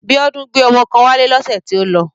Biola gbé ọmọ kan wálé lọ́sẹ̀ tí ó lọ